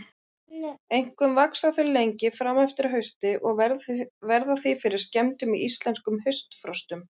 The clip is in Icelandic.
Einkum vaxa þau lengi fram eftir hausti og verða því fyrir skemmdum í íslenskum haustfrostum.